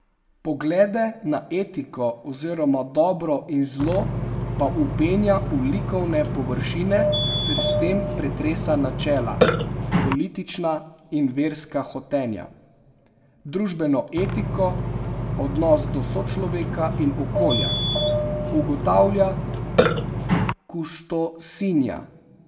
Poglede na etiko oziroma dobro in zlo pa vpenja v likovne površine ter s tem pretresa načela, politična in verska hotenja, družbeno etiko, odnos do sočloveka in okolja, ugotavlja kustosinja.